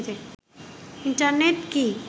internet কি